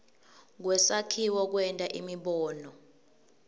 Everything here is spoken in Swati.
kwesakhiwo kwenta imibono